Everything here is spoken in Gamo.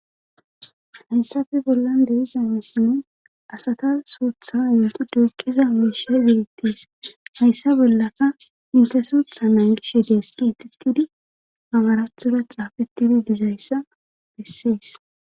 hayssafe bollan dei semesinne asata sootha yinti duuqiza miishe deetees hayssa bollaka intesuutha naagishe deeski itittidi amarathora caafetidi dizayssa bessees